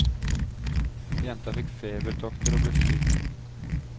Jenta fikk febertokter og ble syk.